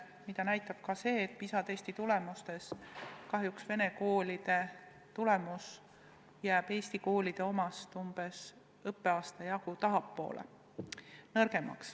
Seda näitab ka see, et PISA testi puhul kahjuks vene koolide tulemus jääb eesti koolide omast umbes õppeaasta jagu maha.